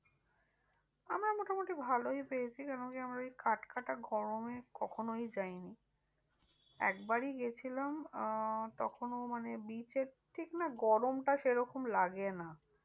আমরা মোটামুটি ভালোই পেয়েছি কেন কি আমরা ওই কাটকাটা গরমে কখনই যায়নি। একবারই গিয়েছিলাম আহ তখনও মানে beach এর ঠিক না গরমটা সেরকম লাগে না।